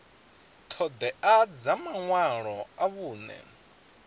ṱhoḓea dza maṅwalo a vhuṅe